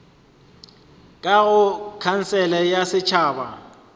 ka go khansele ya setšhaba